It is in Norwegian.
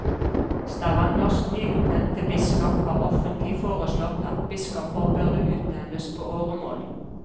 Stavangers nyutnevnte biskop har offentlig foreslått at biskoper burde utnevnes på åremål.